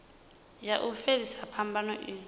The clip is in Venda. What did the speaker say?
ya u fhelisa phambano i